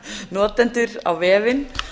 notendur á vefinn